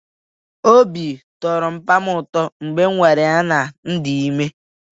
Obi tọrọ papa m ụtọ mgbe m gwara ya na m dị ime.